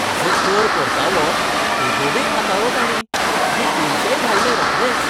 म्हजो कर परतावो बेगोबेग हाताळ्ळो ताणीं आनी पयशेय धाडले रोखडेच.